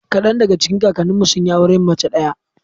Kadan daga cikin kakanninmu sun yi auren mace ɗaya.